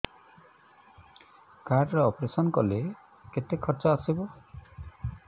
card ରେ operation କଲେ କେତେ ଖର୍ଚ ଆସିବ